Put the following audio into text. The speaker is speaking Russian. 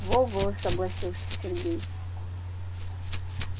во-во согласился сергей